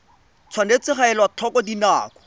tshwanetse ga elwa tlhoko dinako